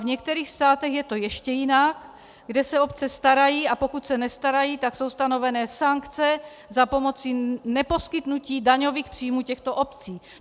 V některých státech je to ještě jinak, kde se obce starají, a pokud se nestarají, tak jsou stanovené sankce za pomoci neposkytnutí daňových příjmů těmto obcí.